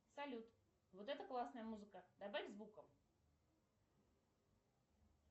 салют вот это классная музыка добавь звука